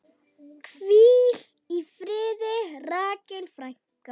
Hvíl í friði, Rakel frænka.